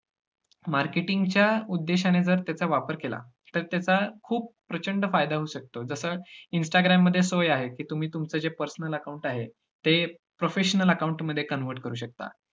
Marketing च्या उद्देशाने जर त्याचा वापर केला, तर त्याचा खूप प्रचंड फायदा होऊ शकतो जस इनस्टाग्राममध्ये सोय आहे, की तुम्ही तुमचं जे personal account आहे ते professional account मध्ये convert करू शकता.